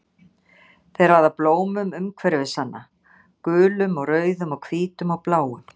Þeir raða blómum umhverfis hana, gulum og rauðum og hvítum og bláum.